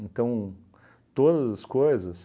Então, todas as coisas,